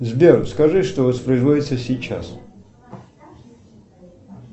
сбер скажи что воспроизводится сейчас